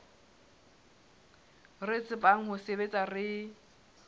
re tsebang ho sebetsa re